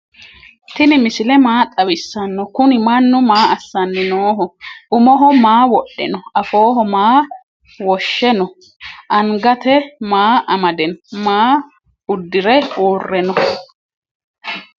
tini misile maa xawisano? kuni maanu maa asani noho? umoho maa wodhe no?afoho maa woshe no?angatw maa amade no?maa udire ure no?